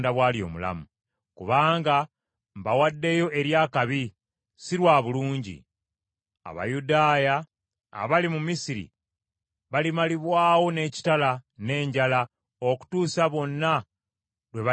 Kubanga mbawaddeyo eri akabi, si lwa bulungi; Abayudaaya abali mu Misiri balimalibwawo n’ekitala n’enjala okutuusa bonna lwe baliggwaawo.